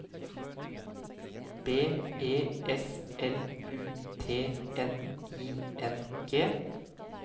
B E S L U T N I N G